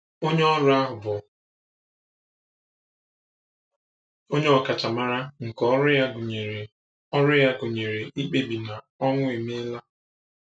Onye ọrụ ahụ bụ onye ọkachamara nke ọrụ ya gụnyere ọrụ ya gụnyere ikpebi na ọnwụ emeela.